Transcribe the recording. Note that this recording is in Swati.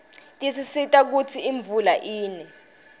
tisisita kutsi imvula ine